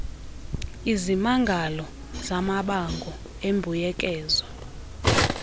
izimangalo zamabango embuyekezo